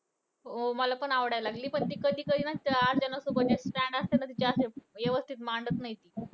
हो मला पण आवडायला लागली. पण ती कधी कधी ना तिचे अर्चनासोबत ना तिचे stand असता ना तिचे अशे व्यवस्थित मांडत नाही ती.